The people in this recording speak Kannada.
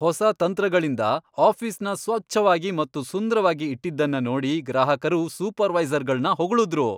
ಹೊಸ ತಂತ್ರಗಳಿಂದ ಆಫಿಸ್ನ ಸ್ವಚ್ಛವಾಗಿ ಮತ್ತು ಸುಂದ್ರವಾಗಿ ಇಟ್ಟಿದ್ದನ್ನ ನೋಡಿ ಗ್ರಾಹಕರು ಸೂಪರ್ವೈಸರ್ ಗಳನ್ನು ಹೋಗಳುದ್ರು.